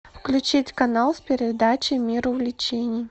включить канал с передачей мир увлечений